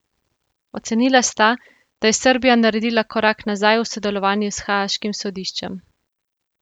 Ocenila sta, da je Srbija naredila korak nazaj v sodelovanju s haaškim sodiščem.